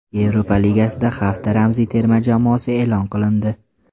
Yevropa Ligasida hafta ramziy terma jamoasi e’lon qilindi !